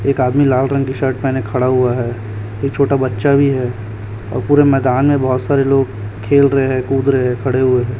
एक आदमी लाल रंग की शर्ट पेहने खड़ा हुआ है ये छोटा बच्चा भी है और पूरे मैदान में बहोत सारे लोग खेल रहे हैं कूद रहे हैं खड़े हुए--